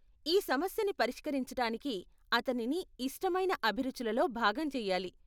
ఈ సమస్యని పరిష్కరించటానికి అతనిని ఇష్టమైన అభిరుచులలో భాగం చెయ్యాలి.